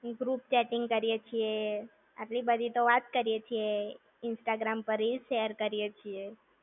group chatting કરીયે છે, આટલી બધી તો વાત કરીયે છે. Instagram પર reel share કરીયે છે.